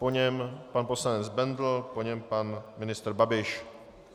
Po něm pan poslanec Bendl, po něm pan ministr Babiš.